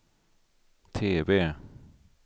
TV